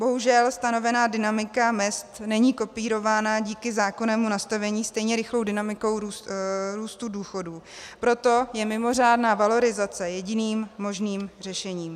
Bohužel stanovená dynamika mezd není kopírována díky zákonnému nastavení stejně rychlou dynamikou růstu důchodů, proto je mimořádná valorizace jediným možným řešením.